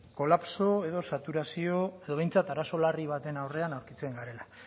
kolapso edo saturazio edo behintzat arazo larri baten aurrean aurkitzen garela